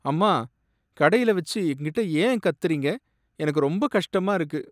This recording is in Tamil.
அம்மா! கடையில வச்சு என்கிட்ட ஏன் கத்துறீங்க, எனக்கு ரொம்ப கஷ்டமா இருக்கு.